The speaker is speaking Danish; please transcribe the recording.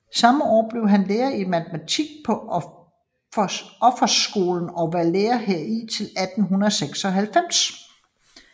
Samme år blev han lærer i matematik på Officersskolen og var lærer heri til 1896